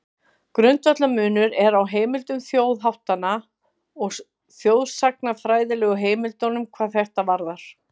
Grundvallarmunur er á heimildum þjóðháttanna og þjóðsagnafræðilegu heimildunum hvað þetta varðar.